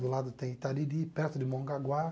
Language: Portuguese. Do lado tem Itariri, perto de Mongaguá.